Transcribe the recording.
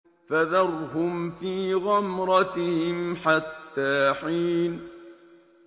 فَذَرْهُمْ فِي غَمْرَتِهِمْ حَتَّىٰ حِينٍ